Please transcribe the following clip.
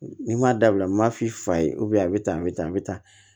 N'i m'a dabila m'i fa ye a bɛ tan a bɛ tan a bɛ tan